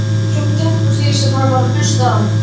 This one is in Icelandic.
Hann trúði tæpast því sem hann var að hlusta á.